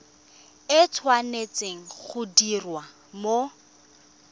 e tshwanetse go diriwa mo